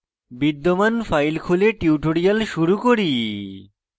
বিদ্যমান file খুলে tutorial শুরু করি